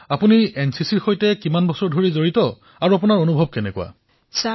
প্ৰধানমন্ত্ৰীঃ আচ্ছা এনচিচিত আপোনাৰ অভিজ্ঞতা কিমান দিনৰ